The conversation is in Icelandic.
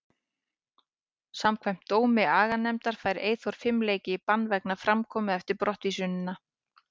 Samkvæmt dómi aganefndarinnar fær Eyþór fimm leiki í bann vegna framkomu eftir brottvísunina.